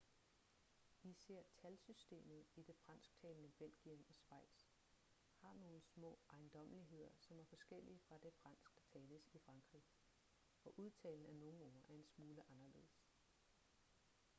især talsystemet i det fransktalende belgien og schweiz har nogle små ejendommeligheder som er forskellige fra det fransk der tales i frankrig og udtalen af nogle ord er en smule anderledes